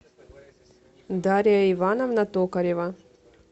дарья ивановна токарева